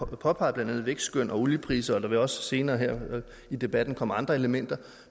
påpeget vækstskøn og oliepriser og der vil også senere her i debatten komme andre elementer